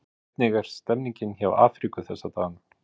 Hvernig er stemmningin hjá Afríku þessa dagana?